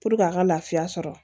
a ka lafiya sɔrɔ